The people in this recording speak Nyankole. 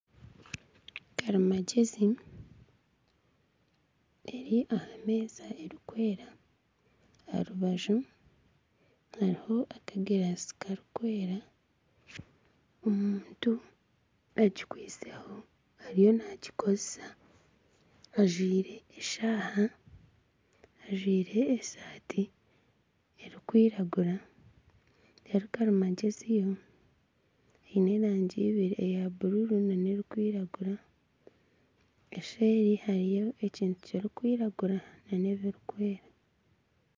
Karimagyezi eri aha meeza erikwera aha rubaju hariho akagirasi karikwera, omuntu agikweiseho ariyo nagikozesa ajwaire eshaaha, ajwaire esaati erikwiragura karimagyezi yo eine erangi ibiri eya bururu nana erikwiragura nseeri hariyo ekintu kirikwiragura nana ebirikwera.